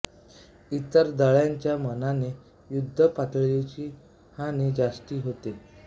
इतर दळांच्या मानाने युद्धात पायदळाची हानी जास्ती होते